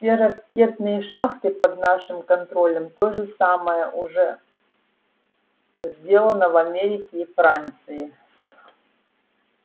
все ракетные шахты под нашим контролем то же самое уже сделано в америке и франции с